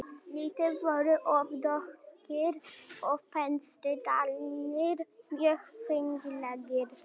Litirnir voru oft dökkir og pensildrættirnir mjög fínlegir.